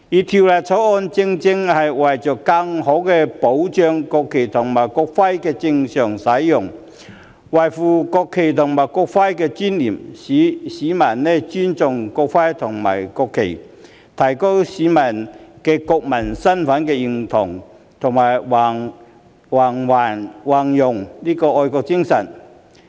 《條例草案》正是為了更好地保障國旗和國徽的正常使用，維護國旗和國徽的尊嚴；並使市民尊重國旗和國徽，提高市民對國民身份的認同及弘揚愛國精神。